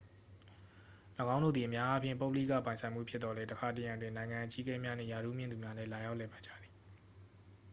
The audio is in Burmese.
"""၎င်းတို့သည် အများအားဖြင့် ပုဂ္ဂလိကပိုင်ဆိုင်မှု ဖြစ်သော်လည်း တစ်ခါတစ်ရံတွင် နိုင်ငံ့အကြီးအကဲများနှင့် ရာထူးမြင့်သူများလည်း လာရောက်လည်ပတ်ကြသည်။""